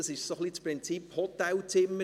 Es ist das Prinzip Hotelzimmer: